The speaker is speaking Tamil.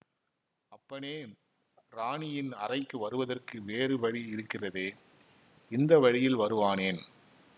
அப்பனே இராணியின் அறைக்கு வருவதற்கு வேறு வழி இருக்கிறதே இந்த வழியில் வருவானேன்